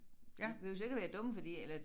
De behøves ikke at være dumme fordi eller